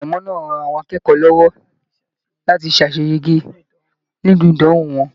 Ìpalẹ̀mọ́ náà rán àwọn akẹ́kọ̀ọ́ lọwọ láti ṣaseyege nínú ìdánwò wọn.